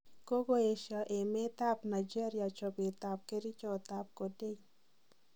Kogoesio emet ab Nigeria chobeet ab kerichot ab Codeine.